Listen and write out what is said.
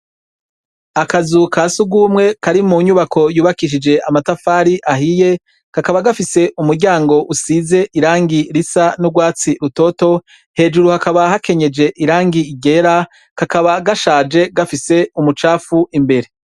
Akazu ka si ugumwe kari mu nyubako yubakishije amatafari ahiye kakaba gafise umuryango usize irangi risa n'urwatsi rutoto hejuru hakaba hakenyeje irangi igera kakaba gashaje gafise umucapfu imbere.